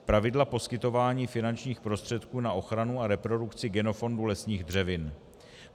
Pravidla poskytování finančních prostředků na ochranu a reprodukci genofondu lesních dřevin.